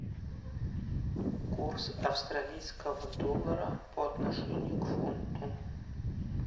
курс австралийского доллара по отношению к фунту